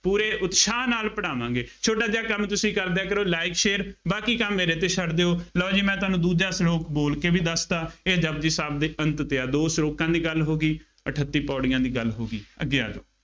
ਪੂਰੇ ਉਤਸ਼ਾਹ ਨਾਲ ਪੜਾਵਾਂਗੇ। ਛੋਟਾ ਜਿਹਾ ਕੰਮ ਤੁਸੀਂ ਕਰਦਿਆਂ ਕਰੋ like share ਬਾਕੀ ਕੰਮ ਮੇਰੇ ਤੇ ਛੱਡ ਦਿਉ, ਲਉ ਜੀ ਮੈਂ ਤੁਹਾਨੂੰ ਦੂਜਾ ਸਲੋਕ ਬੋਲ ਕੇ ਵੀ ਦੱਸਤਾ । ਇਹ ਜਪੁਜੀ ਸਾਹਿਬ ਦੇ ਅੰਤ ਤੇ ਆ, ਦੋ ਸਲੋਕਾਂ ਦੀ ਗੱਲ ਹੋ ਗਈ, ਅਠੱਤੀ ਪੌੜੀਆਂ ਦੀ ਗੱਲ ਹੋ ਗਈ, ਅੱਗੇ ਆ ਜਾਉ,